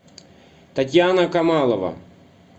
татьяна камалова